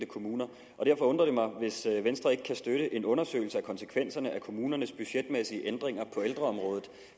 kommuner og derfor undrer det mig hvis venstre ikke kan støtte en undersøgelse af konsekvenserne af kommunernes budgetmæssige ændringer på ældreområdet